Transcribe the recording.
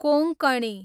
Konkani